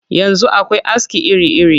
Yanzu akwai aski iri-iri